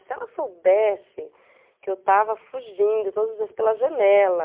Se ela soubesse que eu estava fugindo todos os dias pela janela...